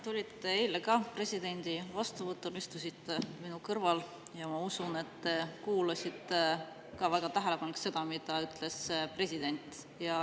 Te olite eile presidendi vastuvõtul, istusite minu kõrval, ja ma usun, et te kuulasite väga tähelepanelikult seda, mida ütles president.